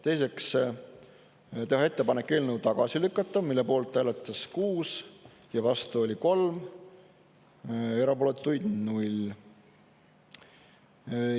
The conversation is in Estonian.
Teiseks, teha ettepanek eelnõu tagasi lükata, mille poolt hääletas 6 ja vastu oli 3, erapooletuid 0.